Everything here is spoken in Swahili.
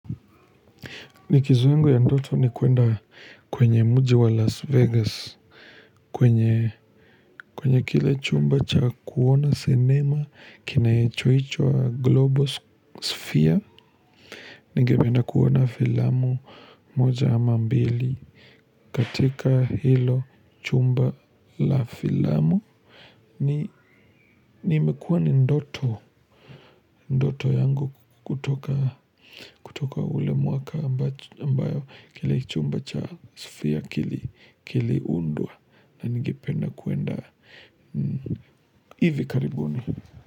Likizo yangu ya ndoto ni kwenda kwenye mji wa Las Vegas kwenye kile chumba cha kuona cinema kinachoitwa global sphere. Ningependa kuona filamu moja ama mbili katika hilo chumba la filamu na imekuwa ni ndoto. Ndoto yangu kutoka ule mwaka ambao kile chumba cha sphere kiliundwa na ningependa kwenda. Ivi karibuni.